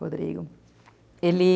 Rodrigo. Ele...